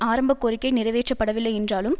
ஆரம்ப கோரிக்கை நிறைவேற்றப்படவில்லை என்றாலும்